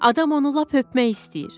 Adam onu lap öpmək istəyir.